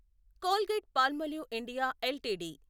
Colgate Palmolive India LTD